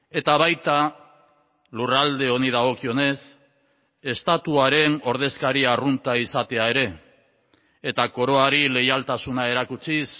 eta baita lurralde honi dagokionez estatuaren ordezkari arrunta izatea ere eta koroari leialtasuna erakutsiz